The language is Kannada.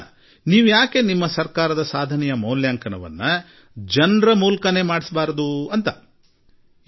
ಹಾಗಾದರೆ ನಿಮ್ಮ ಸರ್ಕಾರದ ಮೌಲ್ಯಾಂಕನವನ್ನು ಜನರಿಂದಲೇ ಏಕೆ ಮಾಡಿಸಬಾರದು ಎಂದು ನನಗೆ ಸಲಹೆ ಕೊಟ್ಟರು